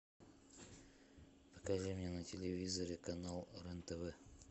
покажи мне на телевизоре канал рен тв